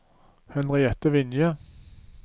Henriette Vinje